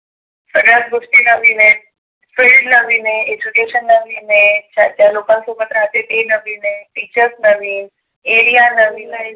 सगळ्याच गोष्टी नविन आहे फ्रेंड नविन आहे एजुकेशन नविन आहे. ज्या ज्या लोकां सोबत राहते ते नविन आहे, टीचर्स नविन, area नविन आहे.